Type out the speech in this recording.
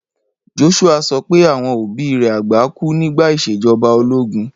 Joshua sopẹ́ àwon òbí rẹ àgbà ku nígbà ìsèjoba ológun.